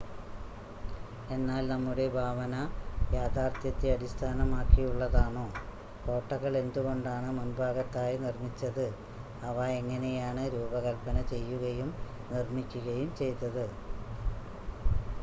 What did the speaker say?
എന്നാൽ നമ്മുടെ ഭാവന യാഥാർത്ഥ്യത്തെ അടിസ്ഥാനമാക്കിയുള്ളതാണോ കോട്ടകൾ എന്തുകൊണ്ടാണ് മുൻഭാഗത്തായി നിർമ്മിച്ചത് അവ എങ്ങനെയാണ് രൂപകൽപ്പന ചെയ്യുകയും നിർമ്മിക്കുകയും ചെയ്തത്